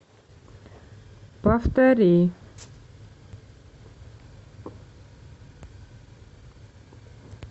повтори